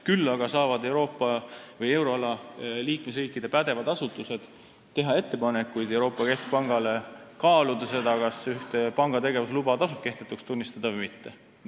Küll aga saavad Euroopa või euroala liikmesriikide pädevad asutused teha ettepanekuid Euroopa Keskpangale kaaluda seda, kas ühte panga tegevusluba tasub kehtetuks tunnistada või mitte.